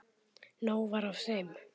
Nóg var af þeim.